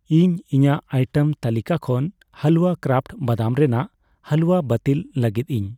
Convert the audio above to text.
ᱤᱧ ᱤᱧᱟᱜ ᱟᱭᱴᱮᱢ ᱛᱟᱹᱞᱤᱠᱟ ᱠᱷᱚᱱ ᱦᱟᱞᱣᱟ ᱠᱨᱟᱯᱷᱴ ᱵᱟᱫᱟᱢ ᱨᱮᱱᱟᱜ ᱦᱟᱞᱩᱣᱟ ᱵᱟᱹᱛᱤᱞ ᱞᱟᱹᱜᱤᱫ ᱤᱧ ᱾